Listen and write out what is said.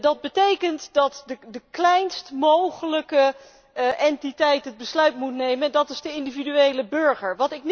Dat betekent dat de kleinst mogelijke entiteit het besluit moet nemen, en dat is de individuele burger.